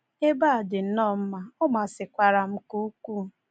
Ebe a dị nnọọ mma, ọ masịkwara m nke ukwuu.